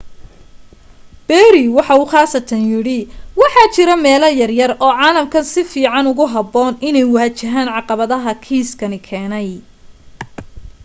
perry waxa uu khaasatan yidhi waxa jira meelo yaryar oo caalamkan si fiican ugu habboon inay waajahaan caqabadaha kiiskani keenay.